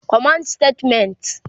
command Statements